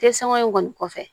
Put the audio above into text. Te sanŋa in kɔni kɔfɛ